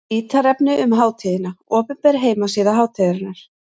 Ítarefni um hátíðina: Opinber heimasíða hátíðarinnar.